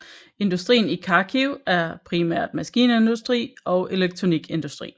Industrien i Kharkiv er primært maskinindustri og elektronikindustri